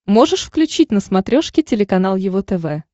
можешь включить на смотрешке телеканал его тв